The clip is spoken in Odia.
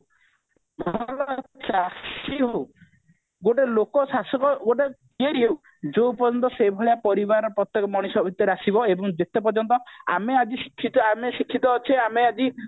ଭଲ ଚାଷୀ ହଉ ଗୋଟେ ଲୋକ ଶାସକ ଗୋଟେ ହଉ ଯୋଉ ପର୍ଯ୍ୟନ୍ତ ସେ ଭଳିଆ ପରିବାର ପ୍ରତ୍ଯେକ ମଣିଷ ଭିତରେ ଆସିବ ଏବଂ ଯେତେ ପର୍ଯ୍ୟନ୍ତ ଆମେ ଆଜି ଆମେ ଶିକ୍ଷିତ ଅଛେ ଆମେ ଆଜି